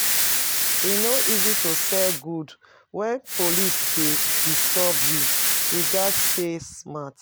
E no easy to sell goods wen police dey disturb you; we gats stay smart.